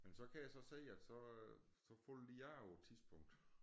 Men så kan jeg så se at så så falder de af på et tidspunkt